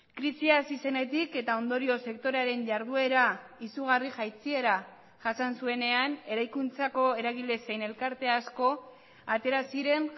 krisia hasi zenetik eta ondorioz sektorearen jarduera izugarri jaitsiera jasan zuenean eraikuntzako eragile zein elkarte asko atera ziren